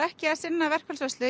ekki að sinna verkfallsvörslu en